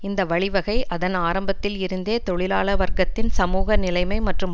இந்த வழி வகை அதன் ஆரம்பத்தில் இருந்தே தொழிலாள வர்க்கத்தின் சமூக நிலைமை மற்றும்